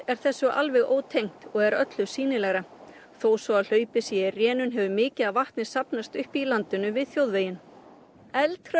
er þessu alveg ótengt og er öllu sýnilegra þó svo að hlaupið sé í rénun hefur mikið af vatni safnast upp í landinu við þjóðveginn